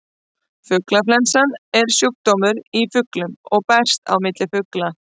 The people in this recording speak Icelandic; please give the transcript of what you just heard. Fuglaflensa er sjúkdómur í fuglum og berst á milli fugla.